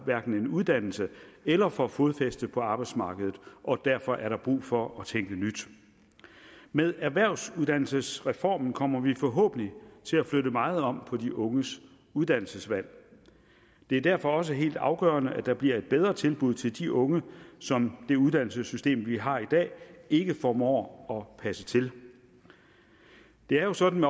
en uddannelse eller får fodfæste på arbejdsmarkedet og derfor er der brug for at tænke nyt med erhvervsuddannelsesreformen kommer vi forhåbentlig til at flytte meget om på de unges uddannelsesvalg det er derfor også helt afgørende at der bliver et bedre tilbud til de unge som det uddannelsessystem vi har i dag ikke formår at passe til det er jo sådan